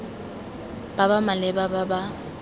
ba ba maleba ba ba